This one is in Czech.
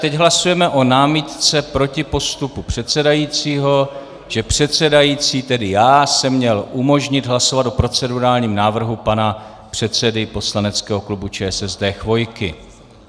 Teď hlasujeme o námitce proti postupu předsedajícího, že předsedající, tedy já, jsem měl umožnit hlasovat o procedurálním návrhu pana předsedy poslaneckého klubu ČSSD Chvojky.